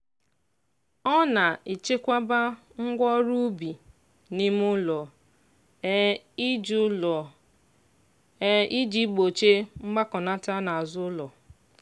ọ na-echekwaba ngwa ọrụ ubi n'ime ụlọ um iji ụlọ um iji gbochie mgbakọnata n'azụ ụlọ